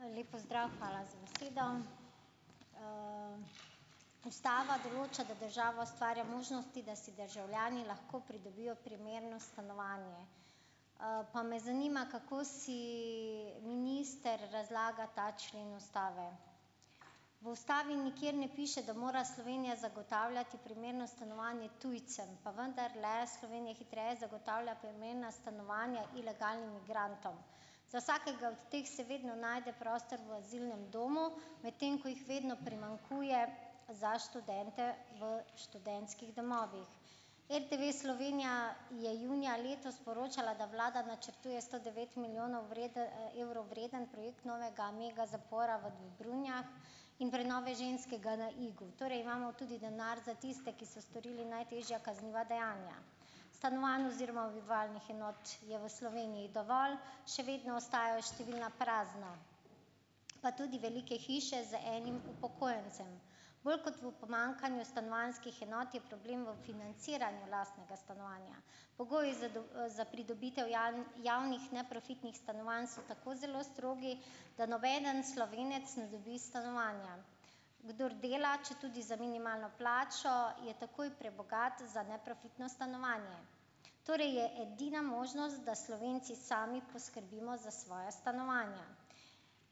Lep pozdrav! Hvala za besedo. ustava določa, da država ustvarja možnosti, da si državljani lahko pridobijo primerno stanovanje. Pa me zanima, kako si minister razlaga ta člen ustave. V ustavi nikjer ne piše, da mora Slovenija zagotavljati primerno stanovanje tujcem, pa vendarle Slovenija hitreje zagotavlja primerna stanovanja ilegalnim migrantom. Za vsakega od teh se vedno najde prostor v azilnem domu, medtem ko jih vedno primanjkuje za študente v študentskih domovih. RTV Slovenija je junija letos poročala, da vlada načrtuje sto devet milijonov evrov vreden projekt novega megazapora v Dobrunjah in prenove ženskega na Igu, torej imamo tudi denar za tiste, ki so storili najtežja kazniva dejanja. Stanovanj oziroma bivalnih enot je v Sloveniji dovolj, še vedno ostajajo številna prazna, pa tudi velike hiše z enim upokojencem. Bolj kot v pomanjkanju stanovanjskih enot je problem v financiranju lastnega stanovanja, pogoji za za pridobitev javnih neprofitnih stanovanj so tako zelo strogi, da nobeden Slovenec ne dobi stanovanja, kdor dela, četudi za minimalno plačo je takoj prebogat za neprofitno stanovanje. Torej je edina možnost, da Slovenci sami poskrbimo za svoja stanovanja.